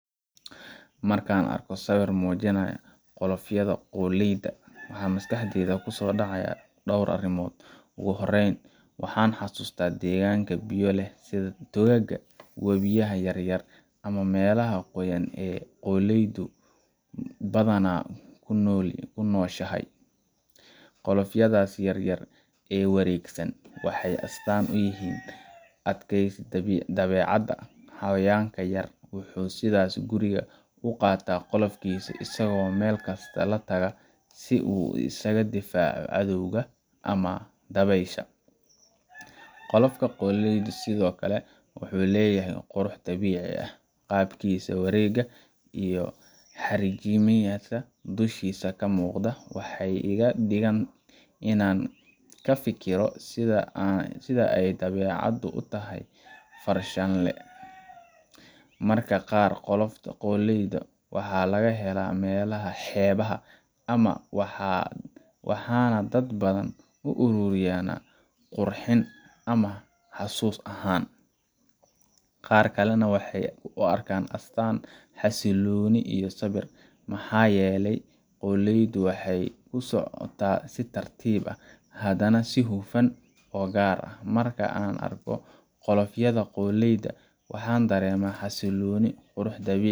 Marka aan arko sawir muujinaya qolofyada qoolleyda, waxa maskaxdayda ku soo dhacaya dhowr arrimood. Ugu horreyn, waxaan xasuustaa deegaanka biyo leh sida togagga, wabiyada yar yar, ama meelaha qoyan ee qoolleydu badanaa ku nooshahay. Qolofyadaas yaryar ee wareegsan waxay astaan u yihiin adkaysiga dabeecadda xayawaankan yar wuxuu sida gurigiisa u qaata qolofkiisa, isagoo meel kasta la taga si uu isaga difaaco cadowga ama dabaysha. Qolofka qoolleyda sidoo kale wuxuu leeyahay qurux dabiici ah, qaabkiisa wareega iyo xariijimaha dushiisa ka muuqda waxay iga dhigaan inaan ka fikiro sida ay dabeecaddu u tahay farshaxanile. Mararka qaar, qolofyada qoolleyda waxaa laga helaa meelaha xeebaha ah, waxaana dad badan u ururiyaan qurxin ahaan ama xasuus ahaan. Qaar kalena waxay u arkaan astaan xasillooni iyo sabir, maxaa yeelay qoolleydu waxay ku socotaa si tartiib ah, haddana si hufan oo gaar ah. Marka aan arko qolofyada qoolleyda, waxaan dareemaa xasillooni, qurux dabiici